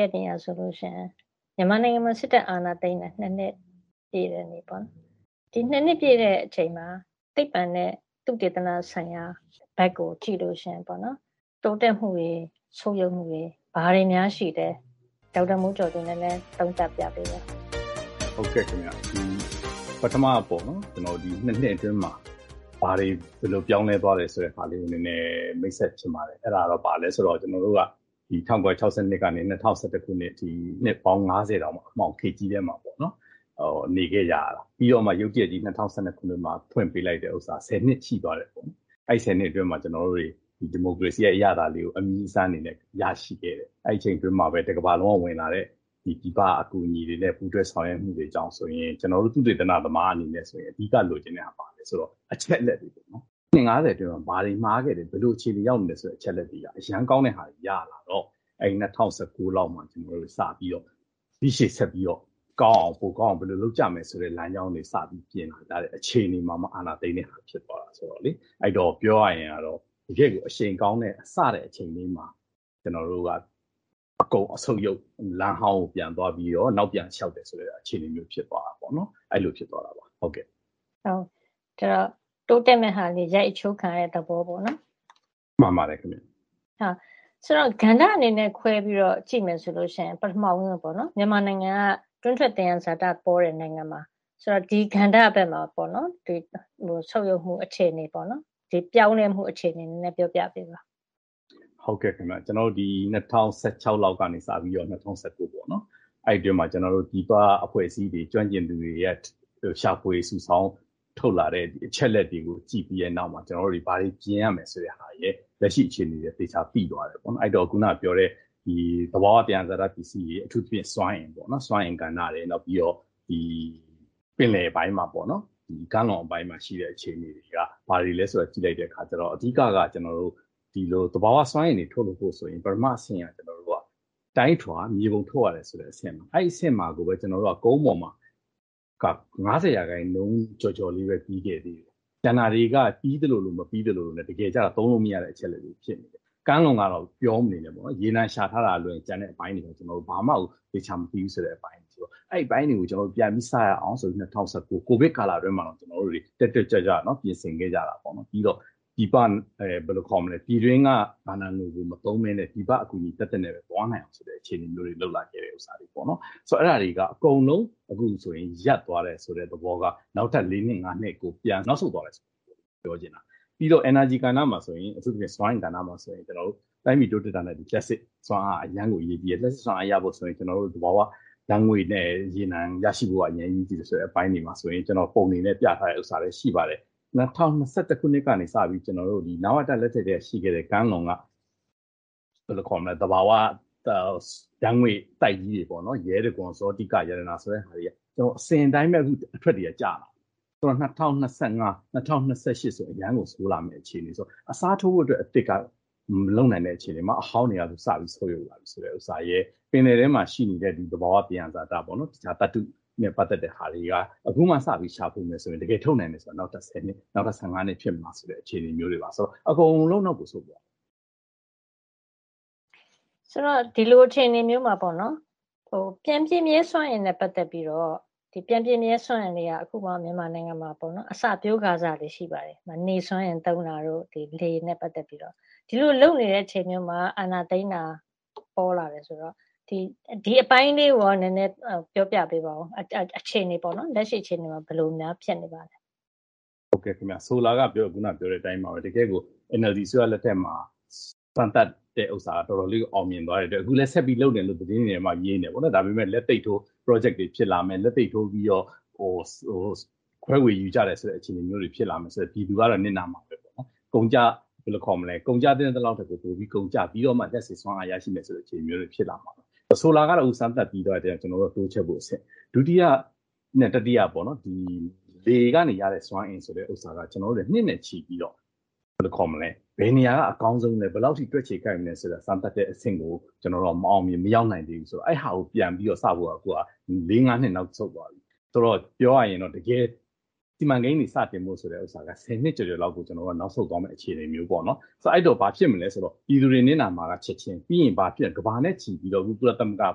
ရက်နေ့ကဆိုလို့ရှိရင် မြန်မာနိုင်ငံမှာ စစ်တပ်အာဏာသိမ်းတာ ၂ နှစ်ပြည့်တဲ့နေ့ပေါ့နော်။ ဒီ ၂ နှစ်ပြည့်တဲ့အချိန်မှာ သိပ္ပံနဲ့သုတေသနဆိုင်ရာဘက်ကိုကြည့်လို့ရှိရင်ပေါ့နော်- တိုးတက်မှုတွေ၊ ဆုတ်ယုတ်မှုတွေ ဘာတွေများရှိလဲ၊ ဒေါက်တာမျိုးကျော်သူ နည်းနည်း သုံးသပ်ပြပေးပါ။ ဒေါက်တာမိုးကျော်သူ။ ။ ဟုတ်ကဲ့ခင်ဗျ။ ပထမပေါ့နော် - ဒီ ၂ နှစ်အတွင်းမှာ ဘာတွေ ဘယ်လို ပြောင်းလဲသွားတယ်ဆိုတဲ့ဟာကို နည်းနည်း မိတ်ဆက်ချင်ပါတယ်။ အဲဒါဘာလဲဆိုတော့ ၁၉၆၂ ကနေ ၂၀၁၁ ခုနှစ်အထိ နှစ်ပေါင်း ၅၀ တောင် အမှောင်ခေတ်ကြီးထဲမှာပေါ့နော်- နေခဲ့ကြရတာ။ ပြီးတော့မှ ရုတ်တရက်ကြီး ၂၀၁၂ ခုနှစ်မှာ ဖွင့်ပေးလိုက်တဲ့ဥစ္စာ ၁၀ နှစ်ရှိသွားတယ်။ အဲဒီ ၁၀ နှစ်အတွင်းမှာ ကျနော်တို့တွေ ဒီမိုကရေစီရဲ့အရသာလေးကို အမြည်းအစမ်းအနေနဲ့ရရှိခဲ့တယ်ပေါ့။ အဲဒီအချိန်အတွင်းမှာပဲ တကမ္ဘာလုံးကဝင်လာတဲ့ပြည်ပအကူအညီတွေနဲ့ ပူးတွဲဆောင်ရွက်မှုတွေကြောင့်ဆိုရင် ကျနော်တို့ သုတေသနသမားအနေနဲ့ဆိုရင် အဓိကလိုချင်တာ ဘာလဲဆိုတော့ အချက်အလက်တွေပေါ့နော်။ နှစ် ၅၀ ကျော် ဘာတွေမှားခဲ့တယ်၊ ဘယ်လိုအခြေအနေရောက်နေတယ်ဆိုတဲ့အချက်အလက်တွေက အရမ်းကောင်းတဲ့ဟာတွေ ရလာတော့ ၂၀၁၉ လောက်မှာစပြီးတော့ ဒီရှေ့ဆက်ပြီးတော့ပိုကောင်းအောင် ဘယ်လိုလုပ်ကြမယ်ဆိုတဲ့လမ်းကြောင်းတွေ စပြီးပြင်လာကြတဲ့အချိန်တွေမှာမှ အာဏာသိမ်းတဲ့ဟာဖြစ်သွားတာဆိုတော့ - ပြောရရင်တော့ တကယ့်ကို အရှိန်ကောင်းတဲ့၊ စတဲ့အချိန်လေးမှာ ကျနော်တို့က အကုန်ဆုတ်ယုတ် လမ်းဟောင်းကိုပြန်သွားပြီးတော့ နောက်ပြန်လျှောက်တယ်ဆိုတဲ့အခြေအနေမျိုး ဖြစ်သွားတာပေါ့နော်။ အဲဒီလို ဖြစ်သွားတာပေါ့။ ဒေါ်ခင်မျိုးသက်။ ။ တိုးတက်မဲ့ဟာတွေ ရိုက်အချိုးခံရတဲ့သဘောပေါ့နော်။ ဒေါက်တာမိုးကျော်သူ။ ။ မှန်ပါတယ်ခင်ဗျ။ ဒေါ်ခင်မျိုးသက်။ ။ ဆိုတော့...ကဏ္ဍအနေနဲ့ခွဲပြီးတော့ ကြည့်မယ်ဆိုရင် ပထမဦးဆုံးပေါ့နော်- မြန်မာနိုင်ငံက တွင်းထွက်သယံဇာတပေါတဲ့နိုင်ငံပါ။...ဆိုတော့ ဒီကဏ္ဍဘက်မှာ ဆုတ်ယုတ်မှုအခြေအနေ၊ ပြောင်းလဲမှုအခြေအနေကို ပြောပြပေးပါ။ ဒေါက်တာမိုးကျော်သူ။ ။ ဟုတ်ကဲ့ခင်ဗျ။ ဒီ ၂၀၁၆ လောက်ကစပြီးတော့ ၂၀၁၉ ပေါ့နော်၊ အဲဒီအတွင်းမှာ ပြည်ပအဖွဲ့အစည်းတွေ၊ ကျွမ်းကျင်သူတွေက ရှာဖွေစုဆောင်းထုတ်လာတဲ့အချက်အလက်တွေကိုကြည့်ပြီးတဲ့နောက်မှာ ကျနော်တို့တွေ ဘာတွေပြင်ရမယ်ဆိုတဲ့ဟာရယ်၊ လက်ရှိအခြေအနေရယ် သေချာသိသွားတယ်ပေါ့။ အဲဒီတော့ အခုနကပြောတဲ့ သဘာဝသယံဇာတပစ္စည်းတွေ- အထူးသဖြင့် စွမ်းအင်ကဏ္ဍ၊ နောက်ပြီးတော့ ပင်လယ်ပိုင်းမှာ ကမ်းလွန်ပိုင်းမှာရှိတဲ့အခြေအနေတွေက ဘာတွေလဲဆိုတာ ကြည့်လိုက်တဲ့အခါ အဓိက-ကတော့ သဘာဝစွမ်းအင်တွေ ထုတ်ဖို့ဆိုရင် ပထမအဆင့်က တိုင်းထွာ၊ မြေပုံထုတ်ရတယ်ဆိုတဲ့အဆင့်၊ အဲဒီအဆင့်မှာကိုပဲ ကျနော်တို့က ကုန်းပေါ်မှာက ၅၀ % ကျော်ကျော်လေးပဲ ပြီးခဲ့တယ်။ ကျန်တာတွေက ပြီးသလိုလို မပြီးသလိုလိုနဲ့ တကယ်ကျ သုံးလို့မရတဲ့အချက်အလက်တွေဖြစ်နေတယ်။ ကမ်းလွန်ကတော့ ပြောမနေနဲ့တော့။ ရေနံရှာထားတာကလွဲရင် ကျန်တဲ့အပိုင်းတွေကို ကျနော်တို့ ဘာမှကို သေချာမသိဘူးဆိုတဲ့အပိုင်းဆိုတော့- အဲဒီအပိုင်းတွေကို ပြန်ပြီးစရအောင်ဆိုပြီး ၂၀၁၉ ကိုဗစ်ကာလအတွင်းမှာတောင် တက်တက်ကြွကြွ ပြင်ဆင်ခဲ့ကြတာ။ ပြည်တွင်းကဘဏ္ဍာငွေတွေမသုံးဘဲ ပြည်ပအကူအညီသက်သက်နဲ့ပဲသွားမယ်ဆိုပြီးတော့ လုပ်လာခဲ့ကြတာ။ အဲဒါတွေက အခုဆို အကုန်လုံးရပ်သွားတယ်ဆိုတဲ့သဘောက နောက်ထပ် လေးနှစ်၊ ငါးနှစ်ကို ပြန်နောက်ဆုတ်သွားတယ်ဆိုတဲ့သဘော ပြောချင်တာ။ ပြီးတော့ energy ကဏ္ဍမှာဆိုရင် အထူးသဖြင့် စွမ်းအင်ကဏ္ဍမှာဆိုရင် ကျနော်တို့ တိုင်းပြည်တိုးတက်တာနဲ့အတူ လျှပ်စစ်စွမ်းအားက အရမ်းကိုအရေးကြီးတယ်။ လျှပ်စစ်စွမ်းအားရဖို့ဆိုရင် သဘာဝဓာတ်ငွေ့နဲ့ ရေနံရရှိဖို့က အရမ်းကိုအရေးကြီးတယ်ဆိုတဲ့အပိုင်းတွေမှာဆိုရင် ကျနော်တို့ပုံတွေနဲ့ပြထားတဲ့ဥစ္စာလည်း ရှိပါတယ်။ ၂၀၂၁ ခုနှစ်ကနေစပြီး နဝတ လက်ထက်ကတည်းကရှိခဲ့တဲ့ ကမ်းလွန်က သဘာဝဓာတ်ငွေ့ပိုက်ကြီးတွေပေါ့နော်- ရဲတံခွန်၊ ဇောတိက၊ ရတနာ ဆိုတဲ့..အစဉ်အတိုင်းပဲ အခု အထွက်တွေက ကျလာတာ။ ၂၀၂၅၊ ၂၀၂၈ ဆိုရင် အရမ်းကို ဆိုးလာမယ့်အခြေအနေဆိုတော့- အစားထိုးဖို့အတွက်အသစ်က မလုပ်နိုင်တဲ့အခြေအနေမှာ အဟောင်းတွေက စပြီး ဆုတ်ယုတ်လာပြီဆိုတဲ့ဥစ္စာရယ်၊ ပင်လယ်ထဲမှာရှိနေတဲ့ သဘာဝသယံဇာတပေါ့နော်-သတ္တုနဲ့ ပတ်သက်တဲ့ဟာလေးတွေက အခုမှစပြီးရှာဖွေမယ်ဆိုရင် တကယ်ထုတ်နိုင်တာက နောက်ထပ် ဆယ်နှစ်၊ နောက်ထပ် ၁၅ နှစ်ဖြစ်မလားဆိုတဲ့အခြေအနေမျိုးတွေမှာ - ဆိုတော့ အကုန်လုံးတော့ မဆိုလိုပါဘူး။ ဒေါ်ခင်မျိုးသက်။ ။...ဆိုတော့ ဒီလိုအခြေအနေမျိုးမှာ ပြန်ပြည့်မြဲစွမ်းအင်နဲ့ပတ်သက်ပြီးတော့ - ပြန်ပြည့်မြဲစွမ်းအင်တွေက အခုမှ မြန်မာနိုင်ငံမှာ အစပျိုးကာစပဲ ရှိပါတယ်။ နေစွမ်းအင်သုံးတာတို့၊ လေနဲ့ပတ်သက်ပြီးတော့။ ဒီလိုလုပ်နေတဲ့အချိန်မှာ အာဏာသိမ်းတာပေါ်လာတယ်ဆိုတော့ ဒီအပိုင်းလေးကိုရော ပြောပြပေးပါအုံး။ လက်ရှိအခြေအနေမှာ ဘယ်လိုများ ဖြစ်နေပါသလဲ။ ဒေါက်တာမိုးကျော်သူ။ ။ ဟုတ်ကဲ့ခင်ဗျ။ ဆိုလိုတာက ခုနကပြောတဲ့အတိုင်းပါပဲ။ တကယ့်ကို NLD အစိုးရလက်ထက်မှာ စမ်းသပ်တာက တော်တော်လေးကို အောင်မြင်သွားတဲ့အတွက် အခုလည်း ဆက်ပြီး လုပ်နေတယ်လို့ သတင်းတွေထဲမှာ မြင်နေတယ်။ ဒါပေမဲ့ လက်သိပ်ထိုး ပရောဂျက်တွေဖြစ်လာမယ်၊ လက်သိပ်ထိုးပြီးတော့ ခွဲဝေယူကြတယ်ဆိုတဲ့အခြေအနေမျိုးတွေဖြစ်လာမယ်ဆိုတော့ ပြည်သူကတော့ နစ်နာမှာပဲပေါ့နော်။ ကုန်ကျသင့်သလောက်ထက် ပိုကုန်ကျပြီးတော့မှ လျှပ်စစ်စွမ်းအားရရှိမယ်ဆိုတဲ့အခြေအနေမျိုးတွေဖြစ်လာမှာပေါ့။ ဆိုလာကတော့ စမ်းသပ်ပြီးသွားလို့ တိုးချဲ့ဖို့အဆင့်။ ဒုတိယနဲ့တတိယပေါ့နော်- ဒီ လေကနေရတဲ့စွမ်းအင်ဆိုတာက ကျနော်တို့လည်း နှစ်နဲ့ချီပြီးတော့ ဘယ်နေရာကအကောင်းဆုံးလဲ၊ ဘယ်လောက်အထိ တွက်ခြေကိုက်မလဲဆိုတဲ့ စမ်းသပ်တဲ့အဆင့်ကို ကျနော်တို့က မအောင်မြင်၊ မရောက်နိုင်သေးဘူး။ အဲဒီဟာကို ပြန်ပြီးတော့စဖို့က လေးငါးနှစ် နောက်ဆုတ်သွားတယ်။ ဆိုတော့... ပြောရရင်တော့ တကယ် စီမံကိန်းတွေစတင်ဖို့ဆိုတဲ့ဥစ္စာက ဆယ်နှစ်ကျော်ကျော်လောက်ကို ကျနော်တို့က နောက်ဆုတ်သွားမယ့်အခြေအနေမျိုးပေါ့နော်။ အဲဒီတော့ ဘာဖြစ်မလဲဆိုတော့ ပြည်သူတွေနစ်နာမှာက ချက်ခြင်း၊ ပြီးရင်ဘာဖြစ်...ကမ္ဘာနဲ့ချီပြီး ကုလသမဂ္ဂက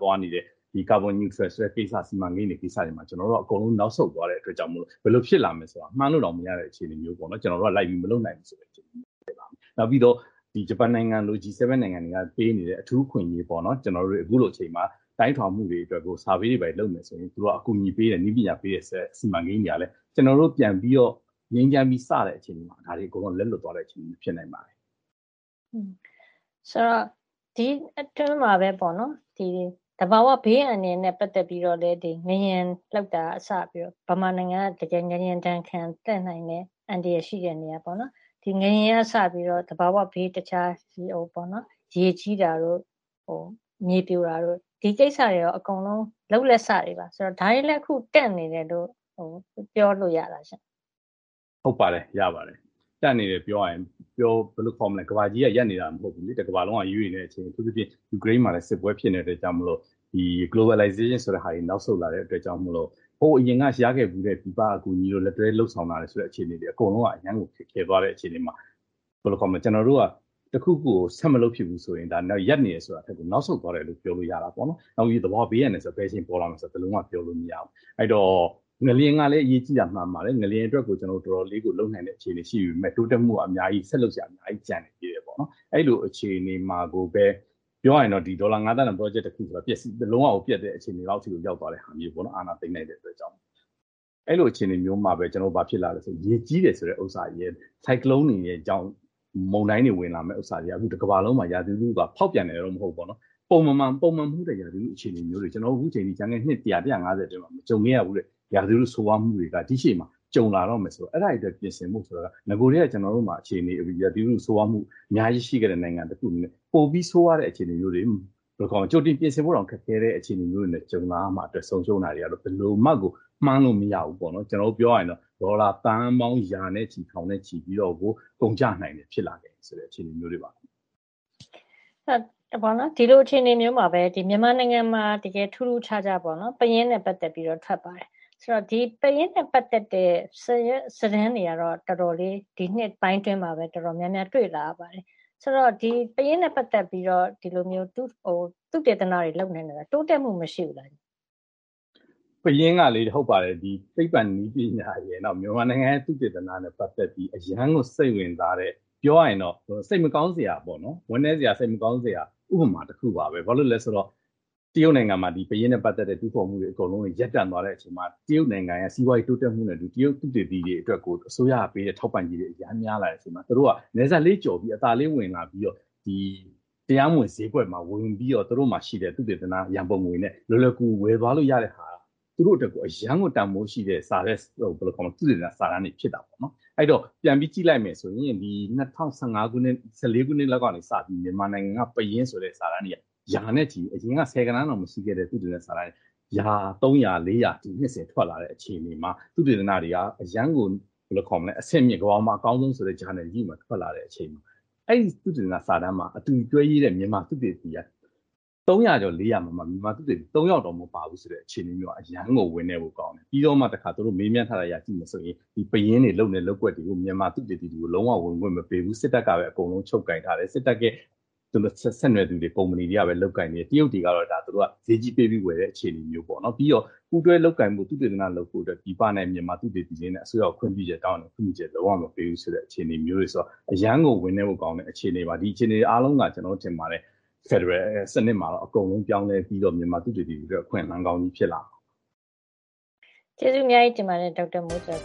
သွားနေတဲ့ ကာဗွန်....စီမံကိန်းတွေမှာ ကျနော်တို့က အကုန်လုံး နောက်ဆုတ်သွားတဲ့အတွက်ကြောင့်မို့လို့ ဘယ်လိုဖြစ်လာမလဲဆိုတာ မှန်းလို့တောင်မရတဲ့အခြေအနေမျိုးပေါ့နော်- ကျနော်တို့က လိုက်ပြီးမလုပ်နိုင်ဘူးဆိုတဲ့အခြေအနေမျိုးဖြစ်လာတယ်။ နောက်ပြီးတော့ ဂျပန်နိုင်ငံလို - G7 နိုင်ငံတွေက ပေးနေတဲ့ အထူးအခွင့်အရေးတွေပေါ့နော်၊ အခုလိုအချိန်မှာ တိုင်းထွာမှုတွေအတွက်ကို Survey တွေဘာတွေ လုပ်မယ်ဆိုရင် အကူအညီတွေပေးတယ်၊ နည်းပညာတွေပေးတယ်ဆိုတဲ့စီမံကိန်းတွေကလည်း ကျနော်တို့ပြန်ပြီးတော့ ငြိမ်းချမ်းပြီး စတဲ့အချိန်မှာ ဒါတွေအကုန်လုံးက လက်လွတ်သွားတဲ့အခြေအနေမျိုးဖြစ်နိုင်တယ်။ ဒေါ်ခင်မျိုးသက်။ ။...ဆိုတော့ ဒီအတွင်းမှာ သဘာဝဘေးအန္တရာယ်နဲ့ပတ်သက်ပြီးတော့လည်း ငလျင်လှုပ်တာကစပြီးတော့ မြန်မာနိုင်ငံက တကယ်ငလျင်ဒဏ်ခံ-သင့်နိုင်တဲ့အန္တရာယ်ရှိတဲ့နေရာပေါ့နော်- ဒီ ငလျင်ကစပြီးတော့ တခြား သဘာဝဘေး ရေကြီးတာတို့၊ မြေပြိုတာတို့- ဒီကိစ္စတွေရော အကုန်လုံး လုပ်လက်စတွေပါ။ ဒါတွေလည်း အခု တန့်နေတယ်လို့ ပြောလို့ရလားရှင့်။ ဒေါက်တာမိုးကျော်သူ။ ။ ဟုတ်ပါတယ်၊ ရပါတယ်။ တန့်နေတယ်ပြောရရင် ဘယ်လိုပြောမလဲ၊ ကမ္ဘာကြီးကရပ်နေတာမဟုတ်ဘူးလေ။ တကမ္ဘာလုံးက ရွေ့နေတဲ့အချိန်။ အထူးသဖြင့် ယူကရိန်းမှာလည်း စစ်ပွဲဖြစ်နေတဲ့အတွက်ကြောင့်မို့လို့ Globalization ဆိုတဲ့ဟာတွေ နောက်ဆုတ်လာတဲ့အတွက်ကြောင့်မို့လို့ ဟိုအရင်ကရခဲ့ဖူးတဲ့ ပြည်ပကအကူအညီတို့၊ လက်တွဲလုပ်ဆောင်လာတဲ့အခြေအနေတွေက အကုန်လုံးက အရမ်းကို ခက်ခဲသွားတဲ့အခြေအနေမှာ ကျနော်တို့က တခုခုကို ဆက်မလုပ်ဖြစ်တော့ဘူးဆိုရင် ရပ်နေတယ်ဆိုတာထက်ကို နောက်ဆုတ်သွားတယ်လို့ ပြောလို့ရတာပေါ့နော်။ အထူးသဖြင့် သဘာဝဘေးအန္တရာယ်ဆိုတာက ဘယ်အချိန်ပေါ်လာမလဲဆိုတာကို ဘယ်လိုမှ ပြောလို့မရပါဘူး။ အဲဒီတော့ ငလျင်ကလည်း အရေးကြီးတာ မှန်ပါတယ်။ ငလျင်အတွကို တော်တော်လေးကို လုပ်နိုင်တဲ့အခြေအနေရှိပေမဲ့ တိုးတက်ဖို့က ဆက်လုပ်စရာ အများကြီးကျန်သေးတယ်ပေါ့။ အဲဒီလိုအခြေအနေမှာကိုပဲ ပြောရမယ်ဆိုရင် ဒေါ်လာ ငါးသန်းတန် ပရောဂျက်တခုက လုံးဝကို ပျက်တဲ့အခြေအနေလောက်ကို ရောက်သွားတဲ့ဟာမျိုးပေါ့နော်-အာဏာသိမ်းလိုက်တဲ့အတွက်။ အဲလိုအခြေအနေမျိုးမှာ ဘာဖြစ်လာသလဲဆိုတော့ ရေကြီးတယ်ဆိုတဲ့ဥစ္စာရယ်၊ ဆိုင်ကလုံးတွေရယ်ကြောင့် မုန်တိုင်းတွေဝင်လာမယ့်ဥစ္စာတွေက အခု တကမ္ဘာလုံးမှာ ရာသီဥတုက ဖောက်ပြန်တယ်ရယ်လို့တော့ မဟုတ်ဘူးပေါ့နော်- ပုံမှန်မဟုတ်တဲ့ရာသီဥတုအခြေအနေမျိုးတွေက အခု ကျနော်တို့ ကျန်ခဲ့တဲ့ နှစ် ၁၀၀ - ၁၅၀ အတွင်းမှာ မကြုံခဲ့ရဘူးတဲ့ ရာသီဥတုဆိုးရွားမှုတွေက ဒီ့ရှေ့မှာ ကြုံလာတော့မယ်ဆိုတော့- အဲဒါတွေအတွက် ပြင်ဆင်ဖို့ နဂိုထဲက ကျနော်တို့မှာ ဒီ ရာသီဥတုဆိုးဝါးမှု အများကြီးရှိခဲ့တဲ့နိုင်ငံတခုအနေနဲ့ ပိုပြီးဆိုးဝါးတဲ့အခြေအနေမျိုးတွေ - ဘယ်လိုခေါ်မလဲ၊ ကြိုတင်ပြင်ဆင်ဖို့တောင် ခက်ခဲတဲ့အခြေအနေမျိုးတွေနဲ့ကြုံလာရမှာအတွက် ဆုံးရှုံးတာတွေက ဘယ်လိုမှကို မှန်းလို့မရဘူးပေါ့နော်။ ပြောရရင်တော့ ဒေါ်လာသန်းပေါင်း ရာနဲ့ချီ၊ ထောင်နဲ့ချီပြီးတော့ကို ကုန်ကျလာနိုင်တာမျိုးတွေ ဖြစ်လာနိုင်တယ်ဆိုတဲ့ အခြေအနေမျိုးတွေပါ။ ဒေါ်ခင်မျိုးသက်။ ။ ဒီလိုအခြေအနေမျိုးမှာပဲ မြန်မာနိုင်ငံမှာ တကယ်ထူးထူးခြားခြားပေါ့နော်- ပယင်းနဲ့ပတ်သက်ပြီးတော့ ထွက်ပါတယ်။ ပယင်းနဲ့ပတ်သက်တဲ့စာရွက်စာတမ်းတွေကတော့ ဒီနှစ်ပိုင်းတွေအတွင်း တော်တော်များများ တွေ့လာရပါတယ်။...ဆိုတော့ ပယင်းနဲ့ပတ်သက်ပြီးတော့ ဒီလိုမျိုး သုတေသနတွေလုပ်နေတာ တိုးတက်မှုမရှိဘူးလား။ ဒေါက်တာမိုးကျော်သူ။ ။ ဟုတ်ပါတယ်။ ပယင်းကလေ- သိပ္ပံနည်းပညာရယ်၊ နောက် မြန်မာနိုင်ငံရဲ့သုတေသနနဲ့ပတ်သက်ပြီး အရမ်းကိုစိတ်ဝင်စားတဲ့၊ ပြောရရင်တော့ စိတ်မကောင်းစရာပေါ့နော်- ဝမ်းနည်းစရာ၊ စိတ်မကောင်းစရာ ဥပမာတခုပါပဲ။ ဘာလို့လဲဆိုတော့ တရုတ်နိုင်ငံမှာ ပယင်းနဲ့ပတ်သက်တဲ့ တူးဖော်မှုတွေအကုန်လုံး ရပ်တန့်သွားတဲ့အချိန်မှာ တရုတ်နိုင်ငံမှာ စီးပွါးရေးတိုးတက်မှုနဲ့အတူ တရုတ်သုတေသီတွေအတွက်ကို အစိုးရကပေးတဲ့ထောက်ပံ့ကြေးတွေ အရမ်းများလာတဲ့အချိန်မှာ သူတို့က နယ်စပ်လေးကျော်ပြီး အသာလေးဝင်လာပြီးတော့ တရားမဝင်ဈေးကွက်မှာဝယ်ယူပြီးတော့ သူတို့မှာရှိတဲ့ သုတေသန ရံပုံငွေနဲ့လွယ်လွယ်ကူကူ ဝယ်သွားလို့ရတဲ့ဟာက သူတို့အတွက်ကို အရမ်းကိုတန်ဖိုးရှိတဲ့ သုတေသနစာတမ်းတွေဖြစ်လာတယ်။ အဲဒီတော့ ပြန်ပြီးကြည့်လိုက်မယ်ဆိုရင် ၂၀၁၄ ခုနှစ်လောက်ကစပြီး မြန်မာနိုင်ငံပယင်းဆိုတဲ့ စာတမ်းတွေက အရင်က ဆယ်ဂဏန်းတောင်မရှိခဲ့တဲ့ သုတေသနစာတမ်းတွေက ရာနဲ့ချီပြီး ၃၀၀- ၄၀၀ စာတမ်းတွေ နှစ်စဉ်ထွက်လာတဲ့အခြေအနေမှာ သုတေသနတွေက အရမ်းကို အဆင့်မြင့်တဲ့၊ ကမ္ဘာပေါ်မှာအကောင်းဆုံးဆိုတဲ့ ဂျာနယ်ကြီးတွေမှာ ထွက်လာတဲ့အချိန်။ အဲဒီသုတေသနစာတမ်းမှာ အတူတွဲရေးတဲ့ မြန်မာသုတေသီတွေက ၃၀၀ ကျော် ၄၀၀ ထဲမှာ မြန်မာသုတေသီက ၃ ယောက်တောင်မပါဘူးဆိုတဲ့အခြေအနေမျိုးက အရမ်းကို ဝမ်းနည်းဖို့ကောင်းတယ်။ ပြီးတော့မှ သူတို့က မေးမြန်းထားတဲ့အရ ကြည့်မယ်ဆိုရင် ပယင်းတွေလုပ်နေတဲ့လုပ်ကွက်တွေကို မြန်မာသုတေသီတွေကို လုံးဝ ဝင်ခွင့်မပေးဘူး။ စစ်တပ်ကပဲအကုန်လုံး ချုပ်ကိုင်ထားတယ်။ စစ်တပ်နဲ့ဆက်နွယ်သူတွေ၊ ကုမ္ပဏီတွေကပဲ လုပ်ကိုင်တယ်။ တရုတ်တွေကတော့ သူတို့က ဈေးကြီးပေးပြီးဝယ်တဲ့အခြေအနေမျိုး။ ပြီးတော့ ပူးတွဲလုပ်ကိုင်ဖို့၊ သုတေသနလုပ်ဖို့ ပြည်ပသုတေသီတွေနဲ့ အစိုးရခွင့်ပြုချက်တောင်းပေမဲ့ ခွင့်ပြုချက်လုံးဝ မပေးဘူးဆိုတဲ့အခြေအနေမျိုးတွေဆိုတော့ အရမ်းကို ဝမ်းနည်းဖို့ကောင်းတဲ့အခြေအနေပါ။ ဒီအခြေအနေတွေအားလုံးက ကျနော်ထင်တယ်၊ ဖက်ဒရယ်စနစ်မှာတော့ အကုန်လုံးပြောင်းလဲပြီးတော့ မြန်မာသုတေသီတွေအတွက် အခွင့်အလမ်းကောင်းတွေဖြစ်လာမယ်။ ဒေါ်ခင်မျိုးသက်။ ။ ကျေးဇူးအများကြီးတင်ပါတယ်။ ဒေါက်တာမျိုးကျော်